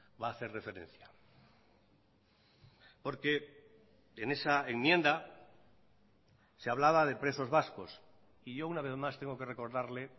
va a hacer referencia porque en esa enmienda se hablaba de presos vascos y yo una vez más tengo que recordarle